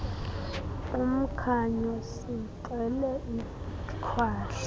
umkhanyo sixele ikhwahla